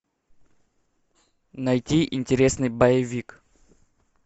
найти интересный боевик